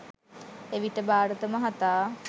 එවිට භාරත මහතා